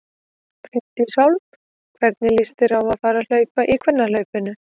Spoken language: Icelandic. Bryndís Hólm: Hvernig líst þér á að fara að hlaupa í kvennahlaupinu?